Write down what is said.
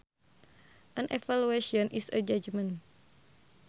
An evaluation is a judgement